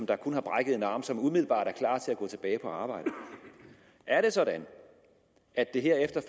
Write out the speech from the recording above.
der kun har brækket en arm og som umiddelbart er klar til at gå tilbage på arbejde er det sådan at det her efter